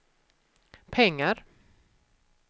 pengar